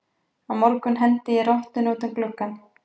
Á morgun hendi ég rottunni út um gluggann.